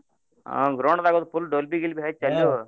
ಹಾ ground ದಾಗ್ ಅದು full Dolbey ಗಿಲ್ಬಿ ಹಚ್ಚಿ ಅಲ್ಯೂ